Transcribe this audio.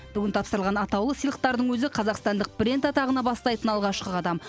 бүгін тапсырылған атаулы сыйлықтардың өзі қазақстандық бренд атағына бастайтын алғашқы қадам